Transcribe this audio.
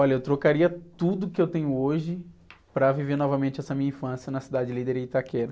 Olha, eu trocaria tudo que eu tenho hoje para viver novamente essa minha infância na Cidade Líder e Itaquera.